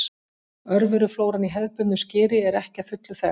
Örveruflóran í hefðbundnu skyri er ekki að fullu þekkt.